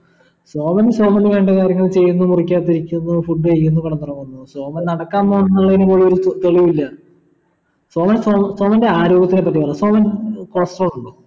സോമൻ സോമൻ്റെ വേണ്ട കാര്യങ്ങൾ ചെയ്യുന്നു മുറിക്കാതിരിക്കുന്നു food കഴിക്കുന്നു കിടന്നുറങ്ങുന്നു സോമൻ നടക്കാൻ പോകുന്നതിനുള്ളതിന് പോലും ഒരു ത് തെളിവില്ല സോമൻ സോമൻ്റെ ആരോഗ്യത്തിനെ പറ്റി അറിയോ സോമൻ സോ സോ